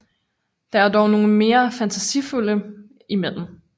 Der er dog nogle mere fantasifulde imellem